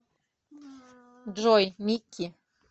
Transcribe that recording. джой микки